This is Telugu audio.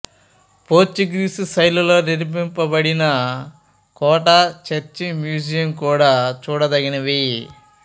పోర్చుగీసు శైలిలో నిర్మింపబడిన కోట చర్చి మ్యూజియం కూడా చూడదగినవి